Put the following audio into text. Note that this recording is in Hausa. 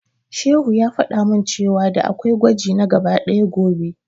Shehu ya faɗa min cewa da'a kwai gwaji na gaba ɗaya gobe.